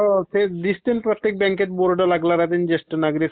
हो ते दिसते ना प्रत्येक बँकेत बोर्ड लागलेला ज्येष्ठ नागरिक...